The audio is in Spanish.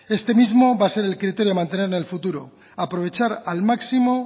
este mismo va a ser el criterio a mantener en el futuro aprovechar al máximo